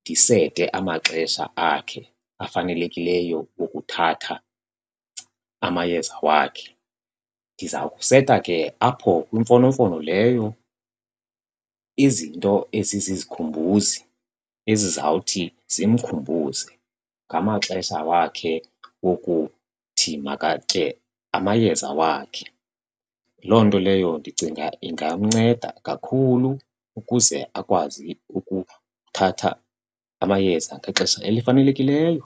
ndisete amaxesha akhe afanelekileyo wokuthatha amayeza wakhe. Ndiza kuseta ke apho kwimfonomfono leyo izinto ezizizikhumbuzi ezizawuthi zimkhumbuze ngamaxesha wakhe wokuthi makatye amayeza wakhe. Loo nto leyo ndicinga ingamnceda kakhulu ukuze akwazi ukuthatha amayeza ngexesha elifanelekileyo.